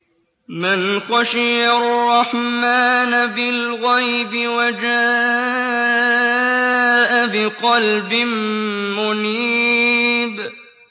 مَّنْ خَشِيَ الرَّحْمَٰنَ بِالْغَيْبِ وَجَاءَ بِقَلْبٍ مُّنِيبٍ